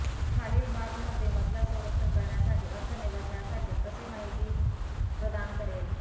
खालील बाथ मध्ये मजला संरक्षण करण्यासाठी अर्थ निवडण्यासाठी कसे माहिती प्रदान करेल